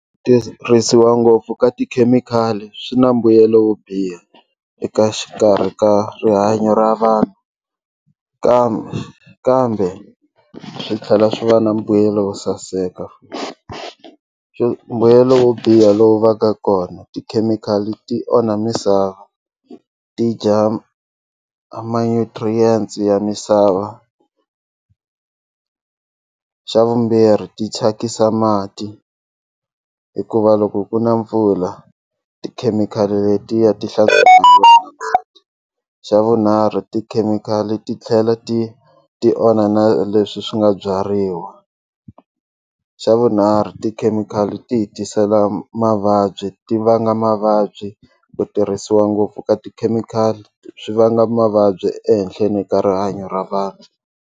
Ku tirhisiwa ngopfu ka tikhemikhali swi na mbuyelo wo biha eka xikarhi ka rihanyo ra vanhu kambe kambe swi tlhela swi va na mbuyelo wo saseka mbuyelo wo biha lowu va ka kona tikhemikhali ti onha misava ti dya ma-nutrients ya misava xa vumbirhi ti thyakisa mati hikuva loko ku na mpfula tikhemikhali letiya ti xa vunharhu tikhemikhali ti tlhela ti ti onha na leswi swi nga byariwa xa vunharhu tikhemikhali ti hi tisela mavabyi ti vanga mavabyi ku tirhisiwa ngopfu ka tikhemikhali swi vanga mavabyi ehenhleni ka rihanyo ra vanhu.